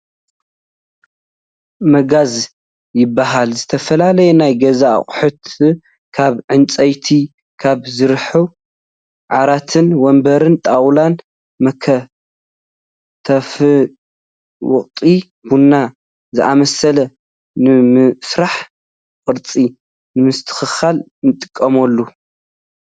መጋዝ ይብሃል ዝተፈላለዩ ናይ ገዛ ኣቁሑት ካብ ዕንጨይቲ ካብ ዝስርሑ ዓራትን ወንበርት ጣውላን መክተፍንመውቀጢ ቡናን ዝኣመሳሰሉ ንምስራሕ ቅርፂ ንምስትክክል ንጥቅመሉ።